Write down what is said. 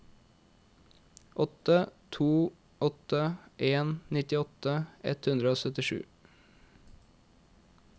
åtte to åtte en nittiåtte ett hundre og syttisju